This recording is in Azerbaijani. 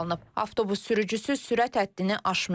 Avtobus sürücüsü sürət həddini aşmayıb.